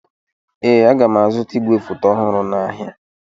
Ee, aga m azụta igwefoto ọhụrụ n'ahịa.